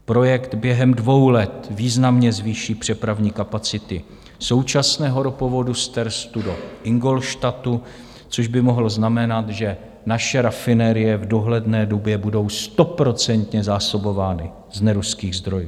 Projekt během dvou let významně zvýší přepravní kapacity současného ropovodu z Terstu do Ingolstadtu, což by mohlo znamenat, že naše rafinérie v dohledné době budou stoprocentně zásobovány z neruských zdrojů.